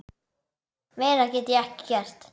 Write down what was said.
Meira get ég ekki gert.